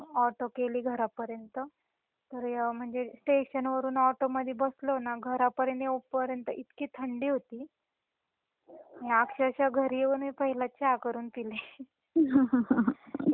auto केली घरापर्यंत तर म्हणजे स्टेशन वरुन ऑटो मधी बसलो ना घरापर्यंत येऊस पर्यंत इतकी थंडी होती म्हणजे अक्षरश: घरी येऊन पहिले मी चा करून पिले